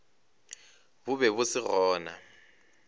bo be bo se gona